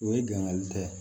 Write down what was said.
O ye gangani tɛ